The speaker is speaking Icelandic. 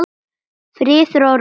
Friður og ró.